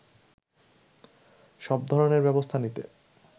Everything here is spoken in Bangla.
সব ধরনের ব্যবস্থা নিতে